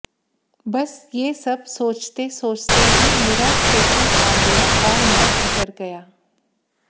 बस ये सब सोचते सोचते ही मेरा स्टेशन आ गया और मैं उतर गया